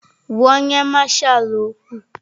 Gwa onye Masha okwu!